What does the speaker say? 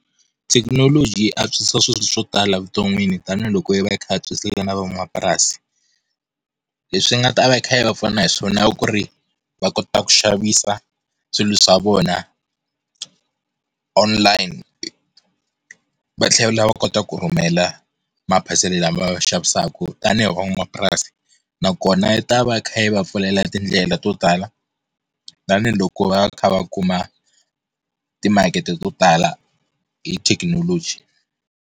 Thekinoloji yi antswisa swilo swo tala vuton'wini tanihiloko yi va yi kha yi antswisela na van'wamapurasi. Leswi yi nga ta va yi kha yi va pfuna hiswona ku ri va kota ku xavisa swilo swa vona online, va tlhela va kota ku rhumela maphasela lama va maxavisaka tanihi van'wamapurasi nakona yi ta va yi kha yi va pfulela tindlela to tala tanihiloko va kha va kuma timakete to tala hi thekinoloji.